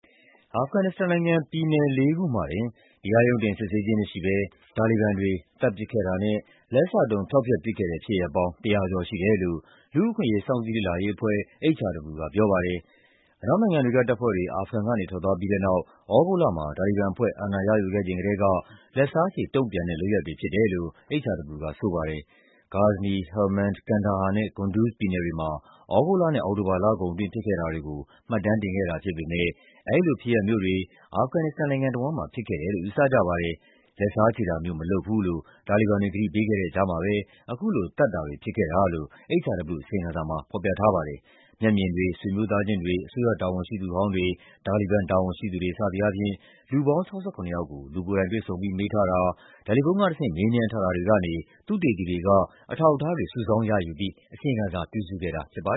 အာဖဂန်နစ္စတန်နိုင်ငံ၊ ပြည်နယ်လေးခုမှာတင် တရားရုံးတင်စစ်ဆေးခြင်းမရှိဘဲ တာလီဘန်တွေ သတ်ပစ်ခဲ့တာနဲ့ လက်စတုံး ဖျောက်ဖျက်ပစ်ခဲ့တဲ့ ဖြစ်ရပ်ပေါင်း ၁၀၀ ကျော်ရှိတယ်လို့ လူ့အခွင့်အရေး စောင့်ကြည့်လေ့လာရေးအဖွဲ့ (HRW) ကပြောပါတယ်။ အနောက်နိုင်ငံတွေက တပ်ဖွဲ့တွေ အာဖဂန်ကနေ ထွက်သွားပြီးတဲ့နောက် သြဂုတ်လမှာ တာလီဘန်အဖွဲ့ အာဏာရယူခဲ့ချိန်ကတည်းက လက်စားခြေတုံ့ပြန်တဲ့ လုပ်ရပ်တွေဖြစ်တယ်လို့ HRW က ဆိုပါတယ်။ ဂါဇနီ၊ ဟယ်လ်မန်ဒ်၊ ကန်ဒါဟာနဲ့ ကွန်ဒုဇ်ပြည်နယ်တွေမှာ သြဂုတ်လနဲ့ အောက်တိုဘာလကုန်အတွင်း ဖြစ်ခဲ့တာတွေကို မှတ်တမ်းတင်ခဲ့တာဖြစ်ပေမယ့် အဲဒီလိုဖြစ်ရပ်မျိုးတွေ အာဖဂန်နစ္စတန်နိုင်ငံတဝန်းမှာ ဖြစ်ခဲ့တယ်လို့ ယူဆကြပါတယ်။ လက်စားခြေတာမျိုး မလုပ်ပါဘူးလို့ တာလီဘန်တွေ ကတိပေးခဲ့တဲ့ကြားမှာပဲ အခုလို သတ်ပစ်တာတွေ ဖြစ်ခဲ့တာလို့ HRW အစီရင်ခံစာမှာ ဖော်ပြထားပါတယ်။ မျက်မြင်တွေ၊ ဆွေမျိုးသားချင်းတွေ၊ အစိုးရတာဝန်ရှိသူဟောင်းတွေ၊ တာလီဘန်တာဝန်ရှိသူတွေ စသည်အားဖြင့် လူပေါင်း ၆၇ ယောက်ကို လူကိုယ်တိုင် တွေ့ဆုံပြီး မေးထားတာ၊ တယ်လီဖုန်းကတဆင့် မေးမြန်းထားတာတွေကနေ သုတေသီတွေက အထောက်အထားတွေ စုဆောင်းရယူပြီး အစီရင်ခံစာပြုစုခဲ့တာပါ